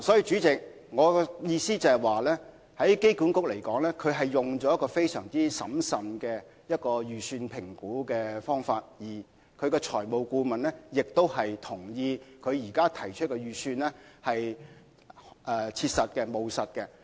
主席，機管局採用了非常審慎的方法評估預算，而財務顧問亦同意，現時提出的預算是務實的。